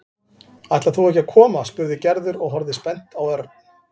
Ætlar þú ekki að koma? spurði Gerður og horfði spennt á Örn.